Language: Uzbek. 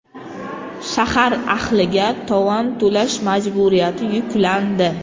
Shahar ahliga tovon to‘lash majburiyati yuklandi.